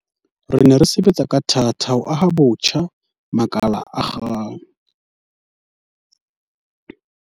Re ne re sebetsa ka thata ho aha botjha makala a akgang